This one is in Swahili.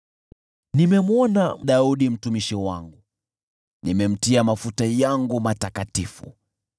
Nimemwona Daudi, mtumishi wangu, na nimemtia mafuta yangu matakatifu.